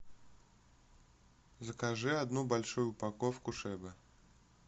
закажи одну большую упаковку шебы